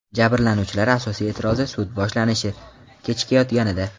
Jabrlanuvchilar asosiy e’tirozi – sud boshlanishi kechikayotganida.